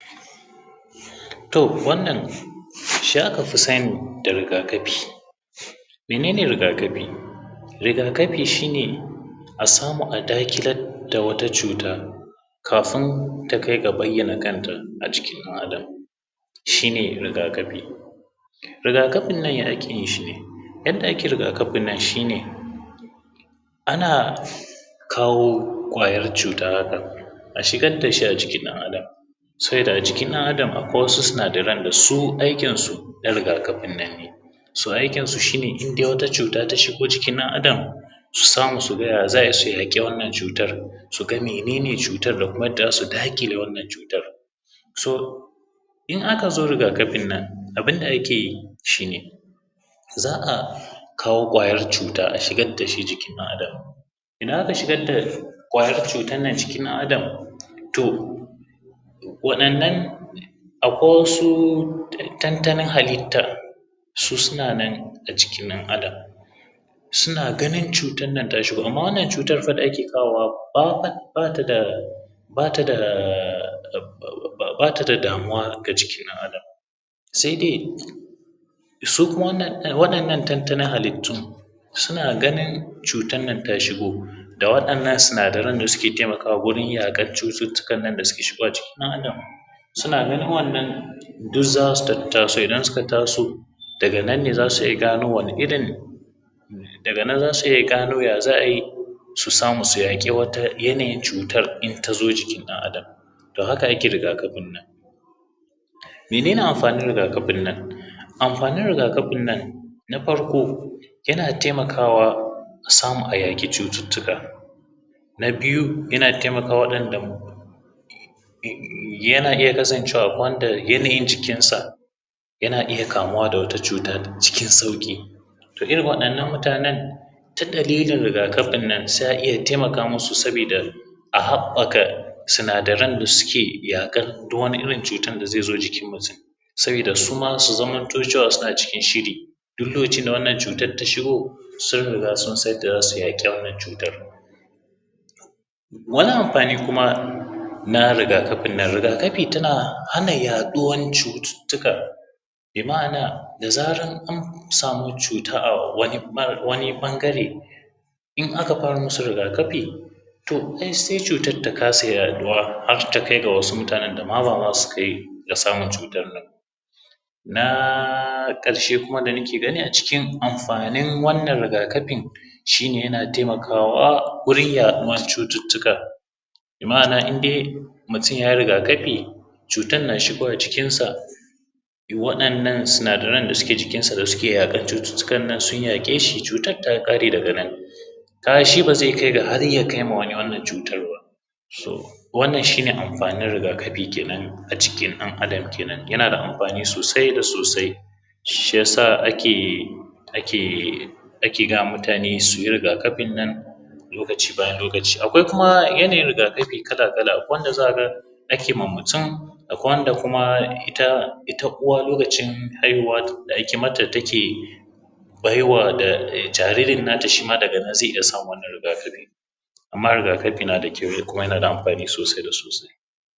To wannan shi akafi sani da rigakafi. Mene ne rigakafi? Rigakafi shi ne a samu a daƙilar da wata cuta kafun ta kai ga bayyana kanta a jikin ɗan adam shi ne rigakafi. Rigakafin nan ya ake yin shi ne? Yadda ake rigakafin nan shine ana kawo ƙwayar cuta haka a shigar dashi a jikin ɗan adam, sabida a jikin ɗan adam akwai wasu sinadaran da su aikinsu na rigakafin nan ne, so aikinsu shi ne indai wata cuta ta shigo jikin ɗan adam, su samu su ga ya za’a yi su yaƙi wannann cutar, su ga menene cutar da kuma yadda za su daƙile wannan cutar so in akazo rigakafin nan abun da ake yi shi ne; za a kawo ƙwayar cuta a shigar da shi jikin ɗan adam. Idan aka shigar da ƙwayan cutannan cikin ɗan adam to waɗannan akwai wasu tantanin halittta su suna nan a jikin ɗan adam suna ganin cutan nan ta shigo amma wannan cutan fa da ake kawowa ba ta da bata da bata da damuwa ga jikin ɗan adam sai dai su kuma waɗannan tantanin halittu suna ganin cutan nan ta shigo da waɗannan sinadaran da suke taimakawa wurin yaƙan cututtukan nan da suke shigowa cikin ɗan adam suna nan duk nan za su tattaso idan suka tattaso daga nan ne za su iya gano wani irin daga nan za su iya gano ya za’a yi su samu su yaƙi wata yanayin cutar in ta zo jikin ɗan adam to haka yake rigakafin nan. Mene ne amfanin rigakafin nan? Amfanin rigakafin nan na farko; yana taimakawa a samu a yaƙi cututtuka, na biyu; yana taimakawa waɗanda yana iya kasancewa akwai wanda yanayin jikinsa yana iya kamuwa da wata cuta sauƙi, to irin waɗannan mutanen ta dalilin rigakafin nan sai a iya taimaka masu sabida a haɓɓaka sinadaran da suke yaƙar duk wani irin cutan da zai zo jikin mutum. Sabida su ma su zamanto cewa suna a cikin shiri duk lokacin da wannan cutan ta shigo, sun riga sun san yadda za su yaƙe wnanan cutar. Wani amfani kuma na rigakafin nan rigakafi tana hana yaɗuwa cututtuka bi ma’ana da zaran an samu cuta a wani ɓa a wani ɓangare in aka fara musu rigakafi to ai sai cutar ta kasa yaɗuwa har takai ga wasu mutanen dama ba ma sukai ga samaun cutar nan. Na ƙarshe kuma da nike gani a cikin amfanin wannan rigakafin shine yana taimakawa wurin yaɗuwar cututtuka, bi ma’ana indai mutum yayi rigakafi cutan na shigowa cikinsa waɗannan sinadaran da suke jikinsa da suke yaƙan cututtuka nan sun yaƙe shi cutar ta ƙare daga nan. Kaga shi ba zai kai ga har ya kaima wani wannan cutan ba, wannan shi ne amfanin rigakafi kenan a jikin ɗan adam kenan yana da amfani sosai da sosai shi ya sa ake ake ake gayama mutane su yi rigakafin nan lokaci bayan lokaci akwai kuma yanayin rigakafi kala-kala, akwai wanda za ka ga ake ma mutum, akwai wanda kuma ita ita uwa lokacin haihuwa da ake mata take baiwa da jaririn nata shima daga nan zai iya samun wannnan rigakafi. Amma rigakafi na da kyau kuma yana da amfani sosai da sosai.